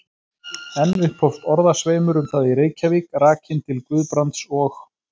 Enn upphófst orðasveimur um það í Reykjavík, rakinn til Guðbrands og